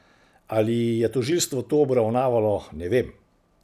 Ali je tožilstvo to obravnavalo, ne vem.